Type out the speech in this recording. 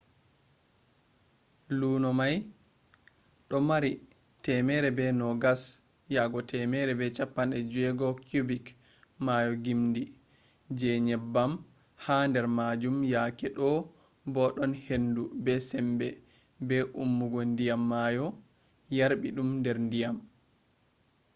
luno mai do maari 120-160 cubic maayo gimdi je nyebbam ha der majum yake do’e bo den hendu be sembe be ummugo diyam maayo yarbi dum der diyam